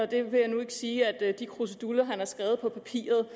det vil jeg nu ikke sige at de kruseduller han har skrevet på papiret